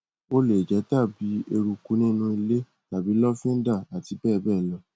ó lè jẹ tàbí eruku nínú ilé tàbí lọfíńdà àti bẹẹ bẹẹ lọ